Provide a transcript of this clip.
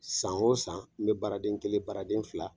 San wo san , n be baaraden kelen baaraden fila